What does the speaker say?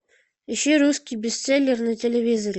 ищи русский бестселлер на телевизоре